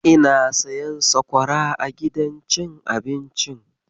Ina siyan sakwara a gidan cin abincin.